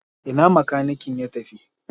Ina makanikin ya tafi?